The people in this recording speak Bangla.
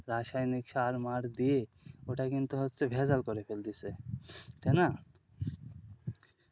রাসায়নিক সার মার দিয়ে ওটা কিন্তু হচ্ছে ভেজাল করে ফেলতেছে তাই না।